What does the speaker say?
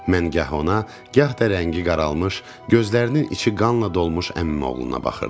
Mən gah ona, gah da rəngi qaralmış, gözlərinin içi qanla dolmuş əmim oğluna baxırdım.